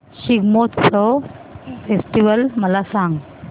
Shigmotsav festival मला सांग